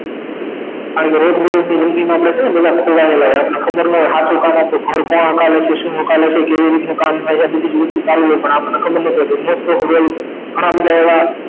કારણ કે રોજબરોજ ની જિંદગી માં કેટલા બધા ખોવાયેલા હોય આપણ ને ખબર ન હોય સાચુ હકાલે છે શું હકાલે છે કેવી રીતે નું કામ હોય છે આ બધી વસ્તુ ચાલુ હોય પણ આપણ ને ખબર નથી હોતી ઘણાબધા એવા